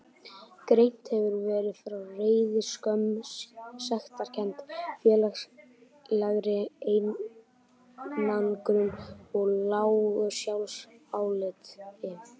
Greint hefur verið frá reiði, skömm, sektarkennd, félagslegri einangrun og lágu sjálfsáliti.